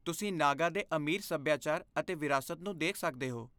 ਤੁਸੀਂ ਨਾਗਾ ਦੇ ਅਮੀਰ ਸੱਭਿਆਚਾਰ ਅਤੇ ਵਿਰਾਸਤ ਨੂੰ ਦੇਖ ਸਕਦੇ ਹੋ।